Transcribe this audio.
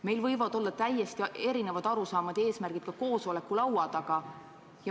Meil võivad olla täiesti erinevad arusaamad ja eesmärgid ka koosolekulaua taga.